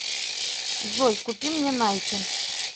джой купи мне найки